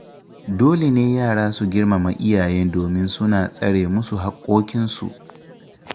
Dole ne yara su girmama iyaye domin suna tsare musu haƙƙoƙinsu